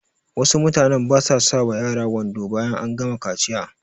Wasu mutanen basa sa wa yara wando bayan an gama kaciya